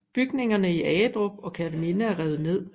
Bygningerne i Agedrup og Kerteminde er revet ned